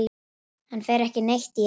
Hann fer ekki neitt í janúar.